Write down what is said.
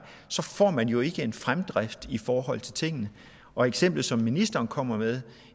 så får man jo ikke en fremdrift i forhold til tingene og eksemplet som ministeren kommer med